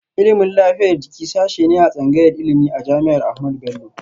Ilimin lafiyar jiki sashe ne a tsangayar ilimi a jami'ar Ahmadu Bello